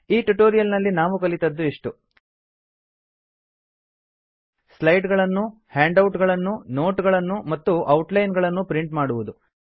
ಈ ಟ್ಯುಟೋರಿಯಲ್ ನಲ್ಲಿ ನಾವು ಕಲಿತದ್ದು ಇಷ್ಟು160 ಸ್ಲೈಡ್ ಗಳನ್ನು ಹ್ಯಾಂಡ್ ಔಟ್ ಗಳನ್ನು ನೋಟ್ ಗಳನ್ನು ಮತ್ತು ಔಟ್ ಲೈನ್ ನ್ನು ಪ್ರಿಂಟ್ ಮಾಡುವುದು